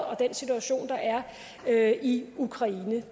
og den situation der er er i ukraine vi